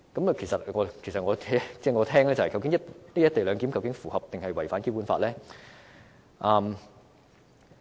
我聽到之後，便想問，"一地兩檢"究竟是符合還是違反《基本法》呢？